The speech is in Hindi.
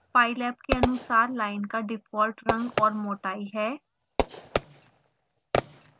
pylab के अनुसार लाइन का डिफॉल्ट रंग और मोटाई है